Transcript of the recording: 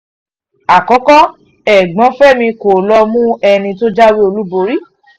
àkókò ẹ̀gbọ́n fẹ́mi kọ́ ló mú ẹni tó jáwé olúborí